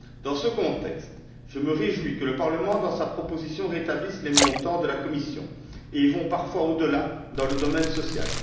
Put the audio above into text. Dans ce contexte, je me réjouis que le Parlement, dans sa proposition, rétablisse les montants de la Commission, et aille parfois au delà dans le domaine social.